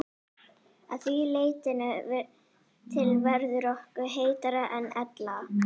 Að því leytinu til verður okkur heitara en ella.